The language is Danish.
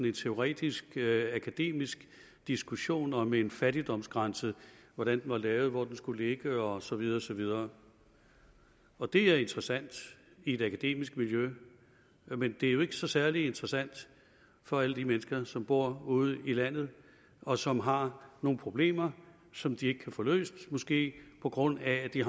en teoretisk akademisk diskussion om en fattigdomsgrænse hvordan den var lavet hvor den skulle ligge og så videre og så videre og det er interessant i et akademisk miljø men det er jo ikke så særlig interessant for alle de mennesker som bor ude i landet og som har nogle problemer som de ikke kan få løst måske på grund af at de